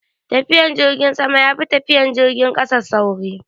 Tafiyan jirgin sama yafi tafiyan jirgin kasa sauri